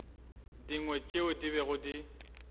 dingwe tšeo di bego di